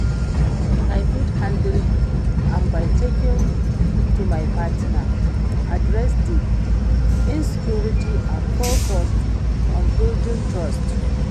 i fit handle am by talking to my partner, address di insecurites and focus on building trust.